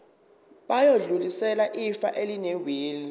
bayodlulisela ifa elinewili